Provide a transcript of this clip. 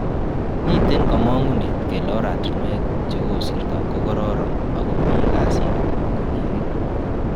Miten komong'unet kele oratinwekuk che kosirto ko kororon ak komi kasit konekit.